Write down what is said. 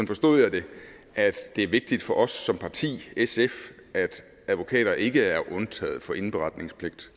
forstod jeg det at det er vigtigt for os som parti sf at advokater ikke er undtaget for indberetningspligt